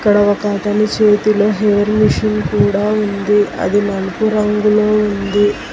ఇక్కడ ఒక అతను చేతిలో ఎయిర్ మిషన్ కూడా ఉంది అది నలుపు రంగులో ఉంది.